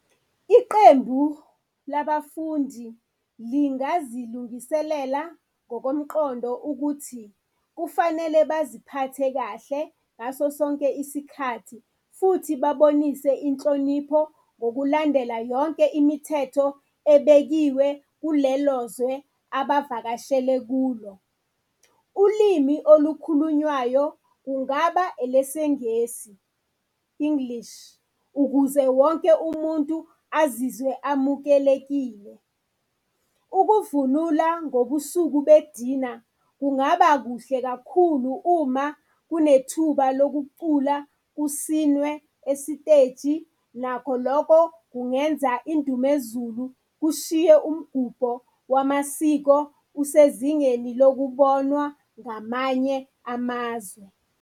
Iqembu labafundi lingazilungiselela ngokomqondo ukuthi kufanele baziphathe kahle ngaso sonke isikhathi, futhi babonise inhlonipho ngokulandela yonke imithetho ebekiwe kulelo zwe abavakashele kulo. Ulimi olukhulunywayo kungaba elesiNgesi, English, ukuze wonke umuntu azizwe amukelekile. Ukuvunula ngobusuku bedina kungaba kuhle kakhulu uma kunethuba lokucula kusinwe esiteji, nakho lokho kungenza indumezulu kushiye umgubho wamasiko usezingeni lokubonwa ngamanye amazwe.